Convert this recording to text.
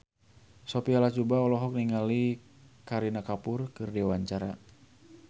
Sophia Latjuba olohok ningali Kareena Kapoor keur diwawancara